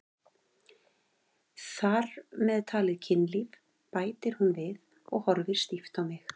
Þar með talið kynlíf, bætir hún við og horfir stíft á mig.